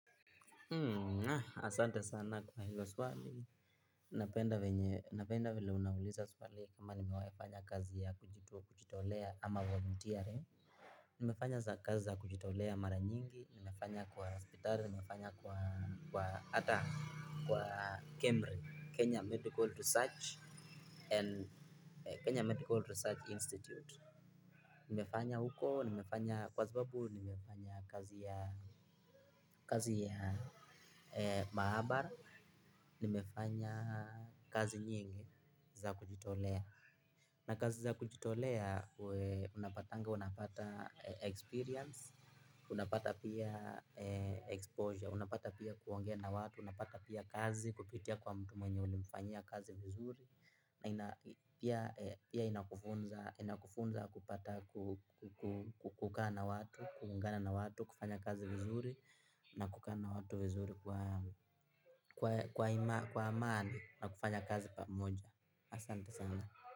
Asante sana kwa hilo swali. Napenda venye napenda vile unauliza swali kama nimewahi fanya kazi ya kujito. Kujitolea ama volunteering. Nimefanya kazi za kujitolea mara nyingi, nimefanya kwa hospitali, nimefanya kwa hata kwa Kemri, Kenya medical research. Kenya Medical Research Institute. Nimefanya huko, nimefanya kwa kwa sababu, nimefanya kazi ya mahabara. Nimefanya kazi nyingi za kujitolea. Na kazi za kujitolea, unapatanga, unapata experience, unapata pia exposure, unapata pia kuongea na watu, unapata pia kazi kupitia kwa mtu mwenye ulimfanyia kazi vizuri. Na inakufunza kupata kukaa na watu, kuungana na watu, kufanya kazi vizuri na kukaa na watu vizuri kwa amani na kufanya kazi pamoja. Asante sana.